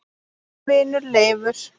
Þinn vinur Leifur.